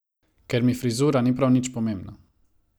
Ker mi frizura ni prav nič pomembna.